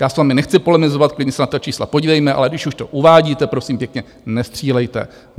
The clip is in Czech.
Já s vámi nechci polemizovat, klidně se na ta čísla podívejme, ale když už to uvádíte, prosím pěkně, nestřílejte.